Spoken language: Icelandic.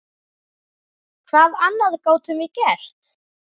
Hvað annað gátum við gert?